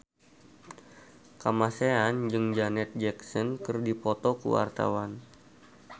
Kamasean jeung Janet Jackson keur dipoto ku wartawan